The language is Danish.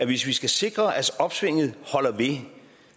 hvis vi skal sikre at opsvinget holder ved